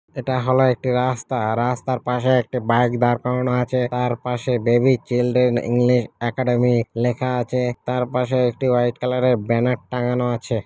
এটা হল একটি রাস্তা রাস্তার পাশে একটা বাইক দাড় করানো আছে তার পাশে বেবি চিলড্রেন ইংলিশ একাডেমী লেখা আছে তার পাশে একটি হোয়াইট কালার -এর ব্যানার টাঙানো আছে।